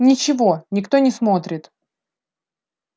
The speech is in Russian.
ничего никто не смотрит